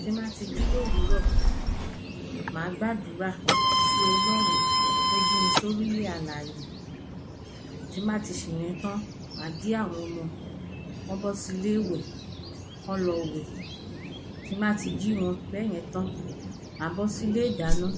Ti n bá ti jí l'ówúrọ̀, má gbàdúrà sí Ọlọrun t'ó jí mi s'órí 'lẹ̀ alàyè Ti n bá ti ṣè yẹn tán, má jí àwọn ọmọ K’ọ́ bọ́ sí ilé 'wẹ̀ k’ọ́ lọ wẹ̀. Tí n bá ti jí wọn bẹ́ yẹn tán, má lọ sí ilé ìdáná.